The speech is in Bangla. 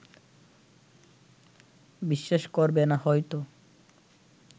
বিশ্বাস করবে না হয়তো